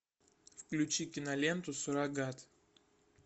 включи киноленту суррогат